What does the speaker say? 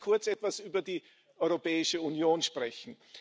Lassen Sie mich kurz etwas über die Europäische Union sprechen.